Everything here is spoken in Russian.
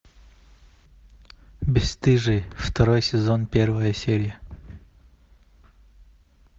бесстыжие второй сезон первая серия